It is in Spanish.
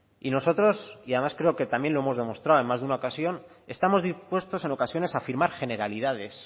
y nosotros y además creo que también lo hemos demostrado en más de una ocasión estamos dispuestos en ocasiones a firmar generalidades